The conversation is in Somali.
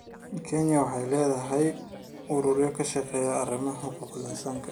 Kenya waxay leedahay ururo ka shaqeeya arrimaha xuquuqul insaanka.